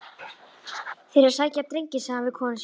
Þeir eru að sækja drenginn, sagði hann við konu sína.